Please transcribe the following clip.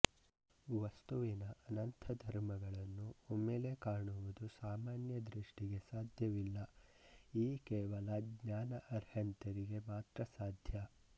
ವಸ್ತುವಿನ ಅನಂತಧರ್ಮಗಳನ್ನೂ ಒಮ್ಮೆಲೆ ಕಾಣುವುದು ಸಾಮಾನ್ಯದೃಷ್ಟಿಗೆ ಸಾಧ್ಯವಿಲ್ಲ ಈ ಕೇವಲ ಙ್ಞಾನ ಅರ್ಹಂತರಿಗೆ ಮಾತ್ರ ಸಾಧ್ಯ